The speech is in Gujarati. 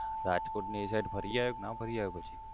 રાજકોટ ને એ side ફરી આયો ક ના ફરી આયો પછી?